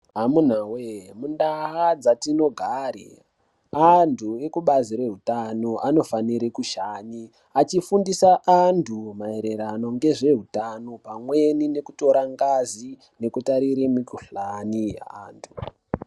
Amuna voye mundaa dzatinogare antu ekubazi rehutano anofanire kushanye. Achifundisa antu maererano ngezveutano pamweni nekutore ngazi nekutarire mikuhlani antu.